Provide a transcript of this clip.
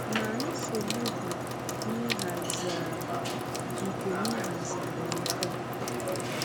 Ma, nsogbu dị n’ịhazigharị nke n’ịhazigharị nke a.